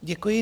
Děkuji.